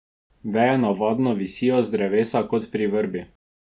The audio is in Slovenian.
Veje navadno visijo z drevesa kot pri vrbi.